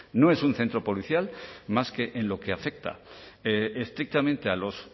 no es un centro policial más que en lo que afecta estrictamente a los